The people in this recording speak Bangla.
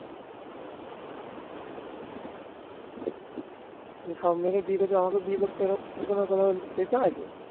যে সব মেয়েরাই বিয়ে করছে। আমাকেও বিয়ে করতে হবে এরকম কথা কোথাও কি লেখা আছে